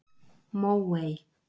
Móey